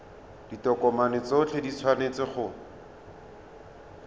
ditokomane tsotlhe di tshwanetse go